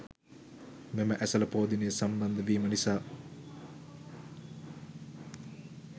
මෙම ඇසළ පෝ දිනය සම්බන්ධ වීම නිසා